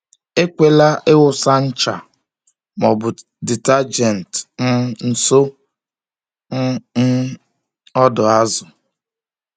Ekwela ịwụsa ncha ma ọ bụ detergent um nso um um ọdọ azụ.